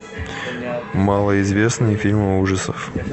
малоизвестные фильмы ужасов